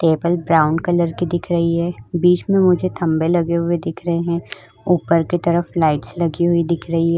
Table brown colour के दिख रही है। बीच में खम्बे लगे हुए दिख रहे हैं। ऊपर की तरफ लाइट्स लगी हुई दिख रही हैं।